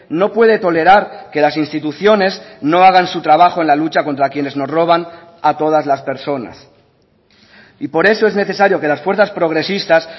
no puede tolerar que las instituciones no hagan su trabajo en la lucha contra quienes nos roban a todas las personas y por eso es necesario que las fuerzas progresistas